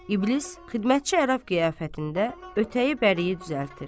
İblis, xidmətçi ərəb qiyafətində ötəyi bəriyə düzəldir.